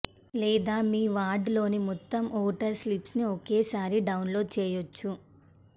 లేదా మీ వార్డులోని మొత్తం ఓటర్ స్లిప్స్ని ఒకేసారి డౌన్లోడ్ చేయొచ్చు